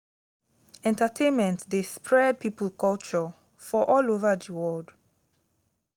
entertainment de spread pipo's culture for all over di world